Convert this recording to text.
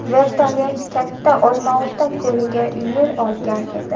Vertolyot Katta Olmaota ko‘liga yo‘l olgan edi.